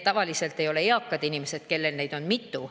Tavaliselt ei ole eakad inimesed need, kellel neid arveid on mitu.